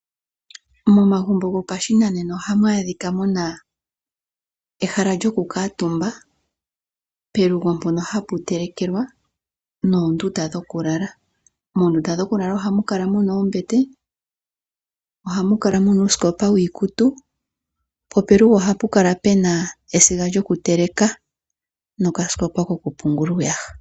Momagumbo gopashinanena ohamu adhika muna ehala lyoku kuutumba ,pelugo mpono hapu telekelwa noondunda dhokulala . Moondunda dhokulala ohamu akala muna ombete ,ohamu kala muna uusikopa wiikutu, po pelugo ohapu kala pena esiga lyokuteleka noka sikopa kokupungula iiyaha.